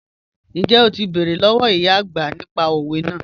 Njẹ́ o ti bẹ̀rẹ̀ lọ́wọ̀ ìyá ọagbà nípà òwẹ̀ naà?